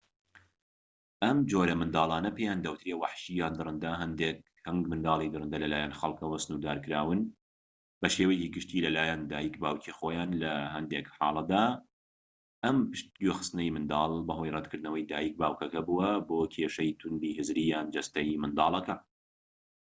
ئەم جۆرە منداڵانە پێیان دەوترێت وەحشی یان دڕەندە. هەنگ منداڵی دڕندە لە لایەن خەڵکەوە سنوردارکراون بە شێوەیەکی گشتى لە لایەن دایک/باوکی خۆیان؛ لە هەندێک حاڵەتدا ئەم پشگوێخستنەی منداڵ بەهۆی ڕەتکردنەوەی دایک/باوکەکە بووە بۆ کێشەی تووندی هزریی یان جەستەیی منداڵەکە